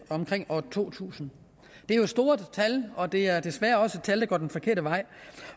omkring år to tusind det er jo store tal og det er desværre også tal der går den forkerte vej